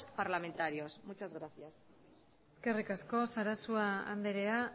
parlamentarios muchas gracias eskerrik asko sarasua andrea